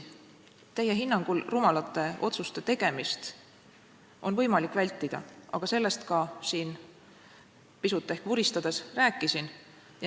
Teie hinnangul rumalate otsuste tegemist enne valimisi on võimalik vältida, sellest ma siin pisut ehk vuristades ka rääkisin.